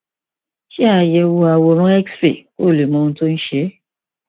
ṣe àyẹwò àwòrán xray kí o lè mọ ohun tó ń ṣe é